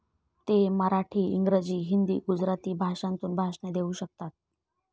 ते मराठी, इंग्रजी, हिंदी, गुजराती भाषांतून भाषणे देऊ शकतात.